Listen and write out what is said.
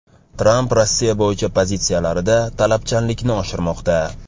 Tramp Rossiya bo‘yicha pozitsiyalarida talabchanlikni oshirmoqda .